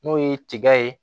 N'o ye tiga ye